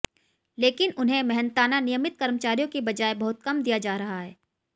लेकिन उन्हे मेहनताना नियमित कर्मचारियों की बजाए बहुत कम दिया जा रहा है